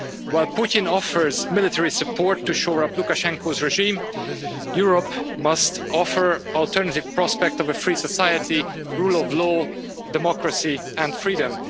While Putin offers military support to shore up Lukashenko's regime, Europe must offer an alternative prospect of a free society, rule of law, democracy and freedom.